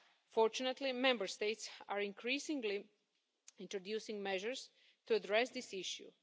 Fortunately, Member States are increasingly introducing measures to address this issue.